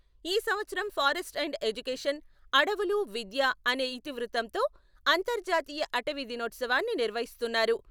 ఈ సంవత్సరం "forests and education" "అడవులు విద్య" అనే ఇతివృత్తంతో అంతర్జాతీయ అటవీ దినోత్సవాన్ని నిర్వహిస్తున్నారు.